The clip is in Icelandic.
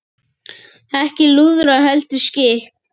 Ekki lúðrar heldur skip.